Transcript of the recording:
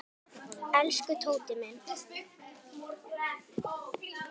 Elsku Tóti minn.